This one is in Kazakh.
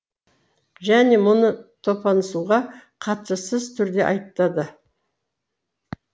және мұны топансуға қатыссыз түрде айтады